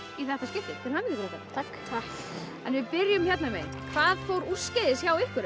í þetta skiptið til hamingju krakkar takk en við byrjum hérna megin hvað fór úrskeiðis hjá ykkur